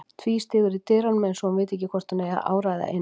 Tvístígur í dyrunum eins og hún viti ekki hvort hún eigi að áræða inn.